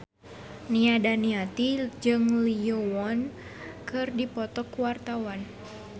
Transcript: Nia Daniati jeung Lee Yo Won keur dipoto ku wartawan